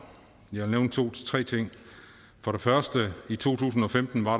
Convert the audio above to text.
jeg vil to tre ting for det første at der i to tusind og femten var